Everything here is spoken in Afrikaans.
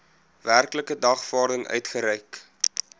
werklike dagvaarding uitgereik